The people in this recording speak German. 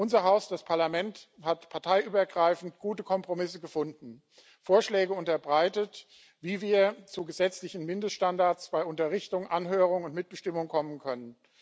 Unser Haus, das Parlament, hat parteiübergreifend gute Kompromisse gefunden, Vorschläge unterbreitet, wie wir zu gesetzlichen Mindeststandards bei Unterrichtung, Anhörung und Mitbestimmung kommen können.